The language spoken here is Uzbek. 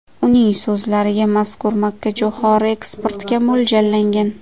Uning so‘zlariga mazkur makkajo‘xori eksportga mo‘ljallangan.